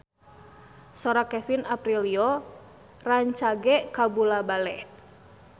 Sora Kevin Aprilio rancage kabula-bale